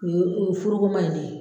O ye u furuko ma in de ye.